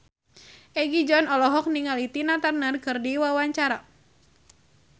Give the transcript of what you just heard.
Egi John olohok ningali Tina Turner keur diwawancara